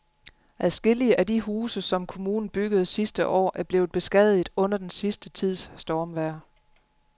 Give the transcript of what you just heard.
Adskillige af de huse, som kommunen byggede sidste år, er blevet beskadiget under den sidste tids stormvejr.